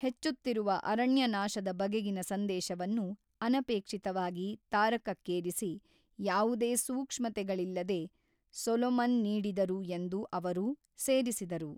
ಹೆಚ್ಚುತ್ತಿರುವ ಅರಣ್ಯನಾಶದ ಬಗೆಗಿನ ಸಂದೇಶವನ್ನು, ಅನಪೇಕ್ಷಿತವಾಗಿ ತಾರಕಕ್ಕೇರಿಸಿ, ಯಾವುದೇ ಸೂಕ್ಷ್ಮತೆಗಳಿಲ್ಲದೆ, ಸೊಲೊಮನ್ ನೀಡಿದರು ಎಂದು ಅವರು ಸೇರಿಸಿದರು.